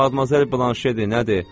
Madmazel Blanşedir, nədir?